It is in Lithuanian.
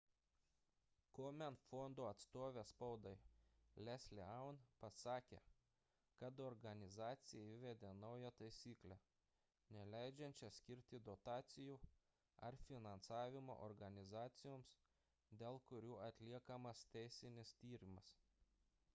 komen fondo atstovė spaudai leslie aun pasakė kad organizacija įvedė naują taisyklę neleidžiančią skirti dotacijų ar finansavimo organizacijoms dėl kurių atliekamas teisinis tyrimas